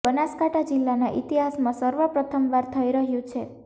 જે બનાસકાંઠા જિલ્લાના ઇતિહાસમાં સર્વ પ્રથમવાર થઈ રહ્યું છે